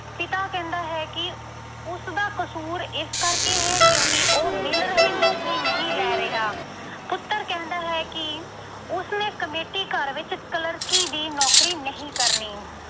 ਉਹ ਕਹਿੰਦਾ ਹੈ ਕਿ ਉ ਅਹ ਉਸਦਾ ਕਸੂਰ ਇਸ ਕਰਕੇ ਹੈ ਕਿਉਂਕਿ ਉਹ ਮਿਲ ਰਹੀ ਨੌਕਰੀ ਨਹੀਂ ਲੈ ਰਿਹਾ। ਪੁੱਤਰ ਕਹਿੰਦਾ ਹੈ ਕਿ ਉਸਨੇ committee ਘਰ ਵਿੱਚ ਕਲਰਕੀ ਦੀ ਨੌਕਰੀ ਨਹੀਂ ਕਰਨੀ।